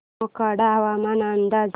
मोखाडा हवामान अंदाज